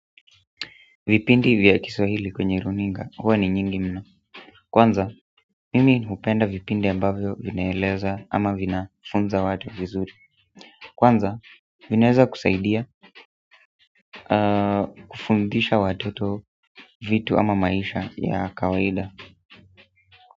Vipindi vya Kiswahili kwenye runinga, huwa ni nyingi mno. Kwanza, mimi hupenda vipindi ambavyo vinaeleza ama vinafunza watu vizuri kwanza, vinaeza kusaidia kufundisha watoto vitu ama maisha ya kawaida.